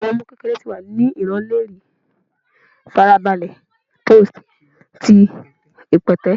Awọn ọmọ kekere ti wa ni ran lori farabale post ti ipẹtẹ